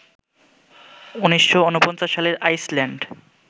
১৯৪৯ সালে আইসল্যান্ড